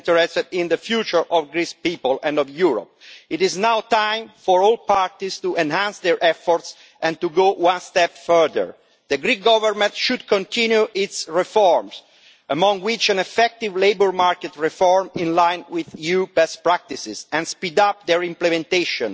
We are interested in the future of the Greek people and of Europe. It is now time for all parties to enhance their efforts and to go one step further. The Greek Government should continue its reforms, including effective labour market reform in line with EU best practices, and speed up their implementation,